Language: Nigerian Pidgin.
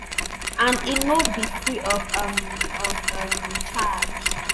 and e no be free of um of um charge